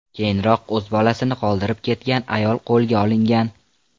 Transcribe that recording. Keyinroq o‘z bolasini qoldirib ketgan ayol qo‘lga olingan.